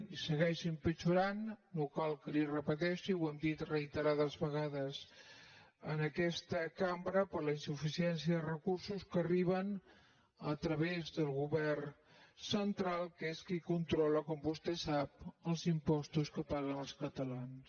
i segueix empitjorant no cal que li ho repeteixi ho hem dit reiterades vegades en aquesta cambra per la insuficiència de recursos que arriben a través del govern central que és qui controla com vostè sap els impostos que paguen els catalans